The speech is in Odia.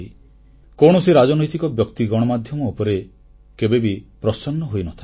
କୌଣସି ରାଜନୈତିକ ବ୍ୟକ୍ତି ଗଣମାଧ୍ୟମ ଉପରେ କେବେ ବି ପ୍ରସନ୍ନ ହୋଇନଥାଏ